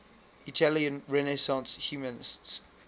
italian renaissance humanists